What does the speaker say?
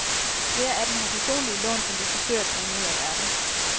Flere af dem har personlige lån, som de forsøger at bringe ud af verden.